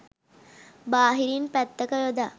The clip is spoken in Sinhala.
බාහිරින් පැත්තක යොදා